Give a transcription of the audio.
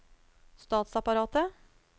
statsapparatet